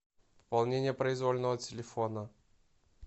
пополнение произвольного телефона